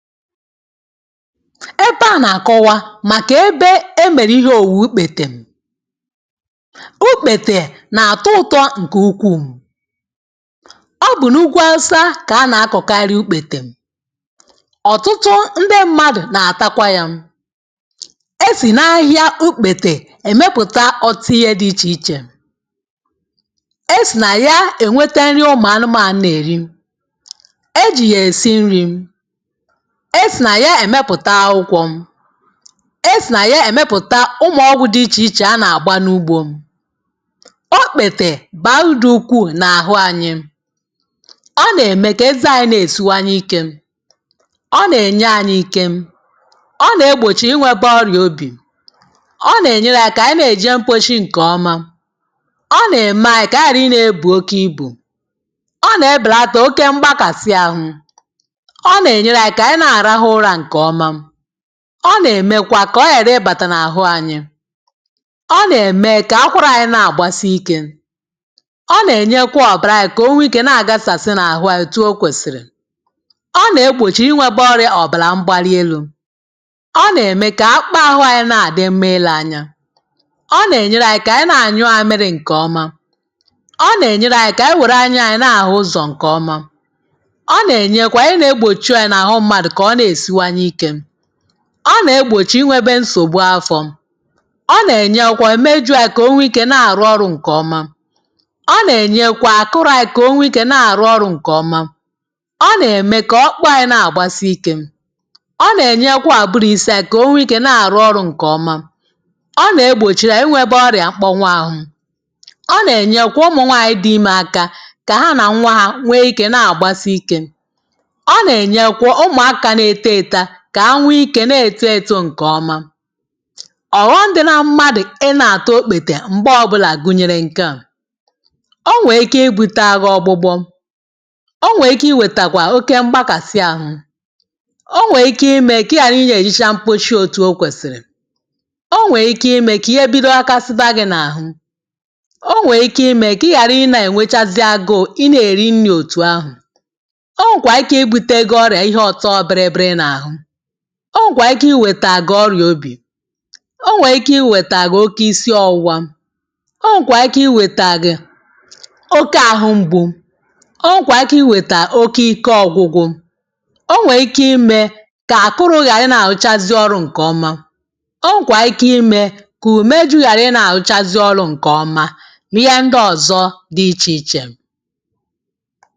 Ebe à nàkọwa màkà ebe e mèrè ihe òwùwù ukpètè Ukpètè nàtọ ụtọ ǹkù ukwuù Ọ bụ̀ n’ugwu Awụsa kà a nà-akọ̀kari ukpètèm ọ̀tụtụ ndị mmadụ̀ nàtakwa yā E sì nà ahịhịa ukpètèm èmepụ̀ta ọ̀ọ̀tụ ihe di ichè ichè E sì nà ya ènweta nri ụmụ̀anụmānụ̀ nèri E jì yè èsi nrī, e sì nà ya èmepụ̀ta aụkwọ̄ E sì nà ya èmepụ̀ta ụmụ̀ ọgwū dị ichè ichè a nàgba n’ugbō Okpètè bàrudu ukwuu n’àhụ anyị, Ọ nème kè ezanyị nesìwanye ikē Ọ nènyanyī ike Ọ nè-egbòchi ịnwēbē ọrịà obì Ọ nènyelanyī kànyi ne-èje mposhi ǹkọ̀ọma Ọ nèmanyị̄ kànyi hàrị ịnēbù oke ịbù, Ọ nè-ebèlata oke mgbakasị ahụ ọ nènyelanyị̄ aka kànyi na-àrahụ ụrā ǹkọ̀ọma Ọ nèmekwa kà ọ ghàrị ibàtà n’àhụ anyị Ọ nème kà akwarānyi na-àgbasị ikē Ọ nènyekwa ọ̀bàranyi kà o nwee ike na-àgasàsị n’àhụ anyị̄ otu o kwèsìrì Ọ nè-egbòchi inwēbē ọ̀bàla mgbalielū. Ọ nème kà akpa àhụ anyị̄ na-àdị mma ilē anya Ọ nènyeranyī kà ànyị na-ànyụ àmịrị ǹkọ̀ọma Ọ nènyereanyị̄ kànyị wère anyanyị̄ na-àhụ ụzọ̀ ǹkọ̀ọma Ọ nènyekwa ihe nē-egbòchi ọyà n’àhụ mmadụ̀ kọ̀ ọ nèsiwanye ikē Ọ nè-egbòchi inwēbē nsògbu afọ̄ Ọ nènyekwa mejụanyị kò o nwee ikē na-àru ọrụ̄ ǹkọ̀ọma Ọ nènyekwa àkụrụanyị kò o nwee ikē na-àrụ ọrụ̄ ǹkọ̀ọma Ọ nème kọ̀ ọkpụkpanyị̄ nagbàsi ikē Ọ nènyekwa àbụrụ̄ isi anyi kò o nwee ikē na-àru ọrụ̄ ǹkọ̀ọma Ọ nè-egbòchiranyị̄ inwēbā ọrịà mkpọnwụ ahụ Ọ nenyekwa ụmụ̀nwanyị̄ dị imē aka kà ha nà nnwa hā nwee ikē nagbàsi ikē Ọ nènyekwa ụmụ̀akā neto eto kà ha nwee ikē netō èto ǹkọ̀ ọma Ọ̀ghọm̄ dị na mmadụ̀ ị nā-àta okpètè m̀gbọ ọbụlà gụ̀nyèrè ǹke a o nwèè ike ibūta gi ọgbụgbọ Ọ nwèè ike iwètàkwà oke mgbakàsị ahu O nwèè ike imē kị ị ghàra ị nē-èjecha mposhi òtù o kwèsìrì O nwèè ike imē kà ihe bido ghakasiba gī n’àhụ O nwèè ike imē kị ị ghàru I nā-ènwechasi agu ị nē-èri nnī òtù ahụ̀ O nwèkwà ike ịbūtee gi ọrịà ihe ọ̀tọ biri biri n’àhụ o nwèkwà ike iwètà gì ọrịà obì O nwèè ike iwètà oke ịsị ọ̀wụwa O nwèkwà ike iwètà gì oke àhụ mgbu, O nwèkwà ike iwètà oke ike ọ̀gwụgwụ. O nwèè ike imē kà àkụrụ̄ ghàrị ị nā-àrụchasị ọrụ̄ ǹkọ̀ọma O nwèkwà ike imē kù ùmejī ghàrị ị nā-àrụchazị ọlụ̄ nkọ̀ọma nì ihe ndị ọ̀zọ dị ichè ichè